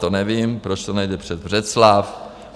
To nevím, proč to nejde přes Břeclav.